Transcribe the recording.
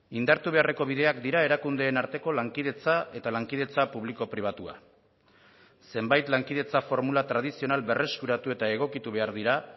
indartu beharreko bideak dira erakundeen arteko lankidetza eta lankidetza publiko pribatua zenbait lankidetza formula tradizional berreskuratu eta egokitu behar dira